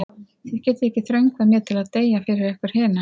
Þið getið ekki þröngvað mér til að deyja fyrir ykkur hina.